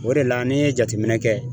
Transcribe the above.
O de la n'i ye jateminɛ kɛ